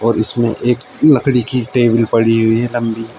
और इसमें एक लकड़ी की टेबल पड़ी हुई है लंबी।